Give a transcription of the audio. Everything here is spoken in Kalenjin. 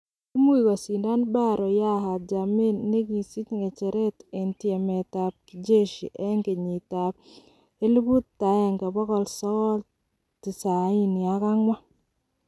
Kiimuch kosindan Barrow Yahya Jammeh negi sich ng'echeret en tyemet ab Kijeshi en kenyiit ab 1994.